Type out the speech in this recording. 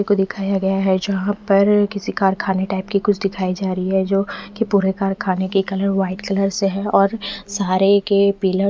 किसी को दिखाया गया है जहाँ पर किसी कारखाने टाइप की कुछ दिखाई जा रही है जो कि पूरे कारखाने के कलर वाइट कलर से है और सारे के पिलर--